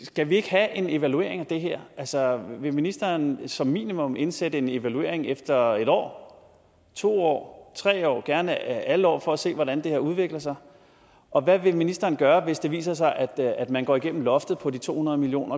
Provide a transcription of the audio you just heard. skal vi ikke have en evaluering af det her altså vil ministeren som minimum indsætte en evaluering efter en år to år tre år gerne alle år for at se hvordan det her udvikler sig og hvad vil ministeren gøre hvis det viser sig at at man går igennem loftet på de to hundrede million